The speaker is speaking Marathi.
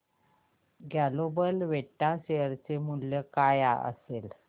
ग्लोबल वेक्ट्रा शेअर चे मूल्य काय असेल